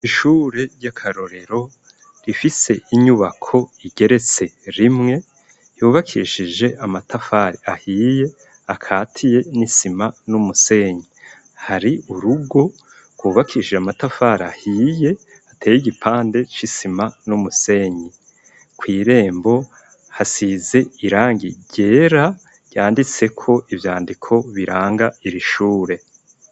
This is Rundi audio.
Ishure ry'akarorero rifise inyubako igeretse rimwe yubakishije amatafari ahiye akatiye n'isima, n'umusenyi hari urugo rwubakishije amatafari ahiye hateye igipande c'isima n'umusenyi kw'irembo hasize irangi ryera ryanditse ko ibyandiko biranga irishure.